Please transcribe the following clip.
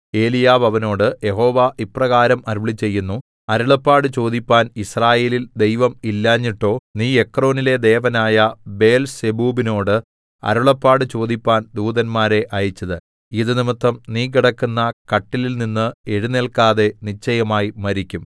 ഏലിയാവ് അവനോട് യഹോവ ഇപ്രകാരം അരുളിച്ചെയ്യുന്നു അരുളപ്പാട് ചോദിപ്പാൻ യിസ്രായേലിൽ ദൈവം ഇല്ലാഞ്ഞിട്ടോ നീ എക്രോനിലെ ദേവനായ ബേൽസെബൂബിനോട് അരുളപ്പാട് ചോദിപ്പാൻ ദൂതന്മാരെ അയച്ചത് ഇതു നിമിത്തം നീ കിടക്കുന്ന കട്ടിലിൽനിന്ന് എഴുന്നേൽക്കാതെ നിശ്ചയമായി മരിക്കും